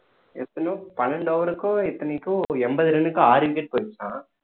எத்தனையோ பன்னெண்டு over க்கோ எத்தனைக்கோ ஒரு எண்பது run க்கும் ஆறு wicket போயிருச்சாம்